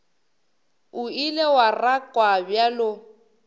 o ile wa rakwa bjalo